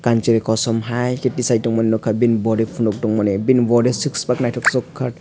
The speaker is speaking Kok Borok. je kosom hai tisai tongmani nogkha bini body ponog tongmani bini body six pack naitoksoka.